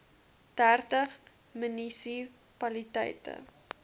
dertig munisi paliteite